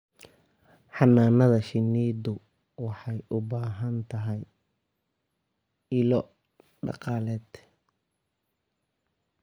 Xannaanada shinnidu waxay u baahan tahay ilo dhaqaale.